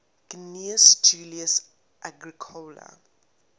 gnaeus julius agricola